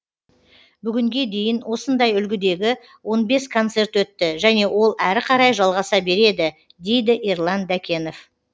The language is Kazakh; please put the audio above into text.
бүгінге дейін осындай үлгідегі он бес концерт өтті және ол әрі қарай жалғаса береді дейді ерлан дәкенов